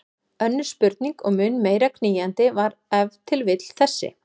Önnur spurning og mun meira knýjandi var ef til vill þessi